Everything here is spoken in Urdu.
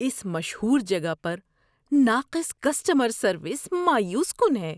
اس مشہور جگہ پر ناقص کسٹمر سروس مایوس کن ہے۔